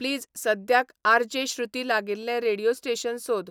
please सद्याक R J Shruti लागिल्लें radio station सोद